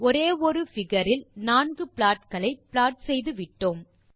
ஒரே ஒரு பிகர் இல் 4 ப்ளாட் களை ப்ளாட் செய்துவிட்டோம்